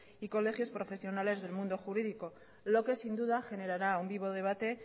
y colegios profesionales del mundo jurídicos lo que sin duda generará un vivo debate